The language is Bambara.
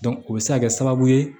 o bɛ se ka kɛ sababu ye